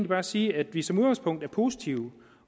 bare sige at vi som udgangspunkt er positive